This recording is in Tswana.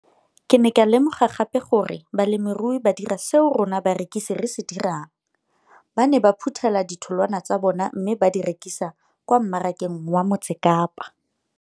Ke ne ka lemoga gape gore balemirui ba dira seo rona barekisi re se dirang, ba ne ba phuthela ditholwana tsa bona mme ba di rekisa kwa marakeng wa Motsekapa.